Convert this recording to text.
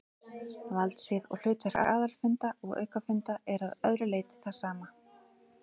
Valdsvið og hlutverk aðalfunda og aukafunda er að öðru leyti það sama.